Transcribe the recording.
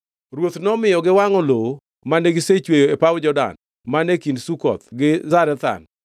Ruoth nomiyo giwangʼo lowo mane gisechweyo e paw Jordan man e kind Sukoth gi Zarethan.